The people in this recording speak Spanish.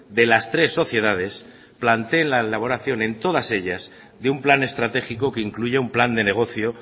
de las tres sociedades planteen la elaboración en todas ellas de un plan estratégico que incluya un plan de negocio